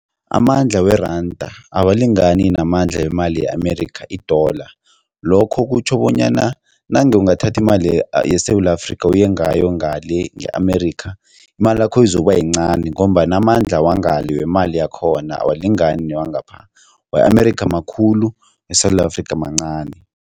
Amandla weranda awalingani namandla wemali ye-America i-dollar. Lokho kutjho bonyana nange ungathatha imali yeSewula Afrika uye ngayo ngale nge-America, imalakho izokuba yincani ngombana amandla wangale wemali yakhona awalingani newangapha, we-America makhulu, weSewula Afrika mancani.